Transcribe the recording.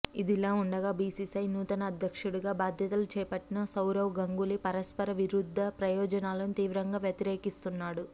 ఇదిలా ఉండగా బీసీసీఐ నూతన అధ్యక్షుడుగా బాధ్యతలు చేపట్టిన సౌరవ్ గంగూలీ పరస్పర విరుద్ద ప్రయోజనాలను తీవ్రంగా వ్యతిరేకిస్తున్నాడు